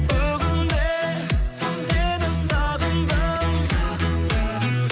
бүгін де сені сағындым